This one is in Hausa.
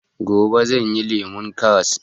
Gobe zan yi lemon karras